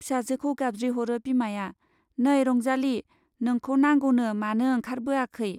फिसाजोखौ गाबज्रिहरो बिमाया, नै रंजाली, नोंखौ नांगौनो-मानो ओंखारबोआखै ?